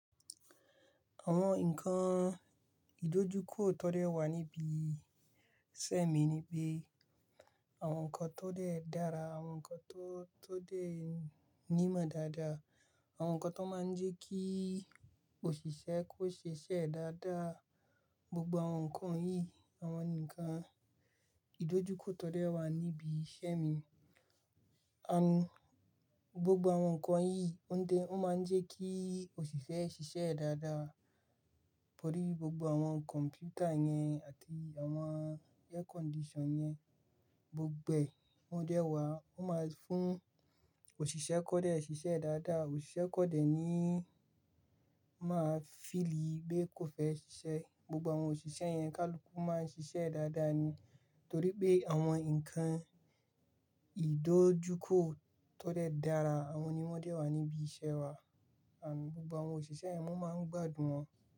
Àwọn nǹkan ìdojúkọ tó dẹ́ wà níbi iṣẹ́ mi ni pé àwọn nǹkan tó dẹ́ dára, àwọn nǹkan tó, tó dẹ́ nímọ̀ dáadáa, àwọn nǹkan tó máa ń jẹ́ kí òṣìṣẹ́ kó ṣe iṣẹ́ dáadáa. Gbogbo àwọn nǹkan yìí, àwọn nǹkan ìdojúkọ tó dẹ́ wà níbi iṣẹ́ mi. Gbogbo àwọn nǹkan yìí ó ń de, ó máa ń jẹ́ kí òṣìṣẹ́ ṣe iṣẹ́ dáadáa torí gbogbo àwọn kọ̀m̀pútà yẹn àti àwọn air condition yẹn gbogbo ẹ, wọ́n dẹ́ wà. Ó máa ń fún òṣìṣẹ́ kọ̀ọ́dẹ́ ṣe iṣẹ́ dáadáa. Òṣìṣẹ́ kọ̀ọ́dẹ́ ni máa feel pé kò fẹ́ ṣe iṣẹ́. Gbogbo àwọn òṣìṣẹ́ yẹn, ká lu kú máa ń ṣe iṣẹ́ dáadáa ni torí pé àwọn nǹkan ìdojúkọ tó dẹ́ dára àwọn ni wọ́n dẹ́ wà níbi iṣẹ́ wa. Gbogbo àwọn òṣìṣẹ́ yẹn wọ́n máa ń gbádùn wọn.